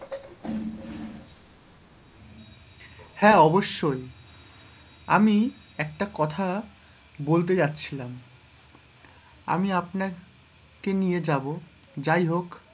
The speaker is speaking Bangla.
অবশ্যই আমি একটা কথা বলতে যাচ্ছিলাম, আমি আপনাকে নিয়ে যাবো, যাই হোক,